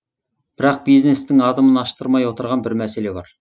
бірақ бизнестің адымын аштырмай отырған бір мәселе бар